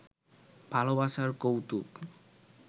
ভালবাসার কৌতুক